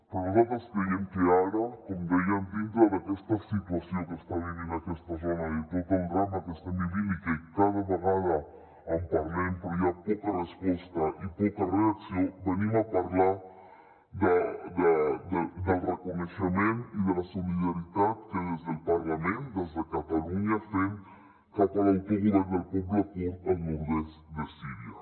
però nosaltres creiem que ara com dèiem dintre d’aquesta situació que està vivint aquesta zona de tot el drama que estan vivint i que cada vegada en parlem però hi ha poca resposta i poca reacció venim a parlar del reconeixement i de la solidaritat que des del parlament des de catalunya fem cap a l’autogovern del poble kurd al nord est de síria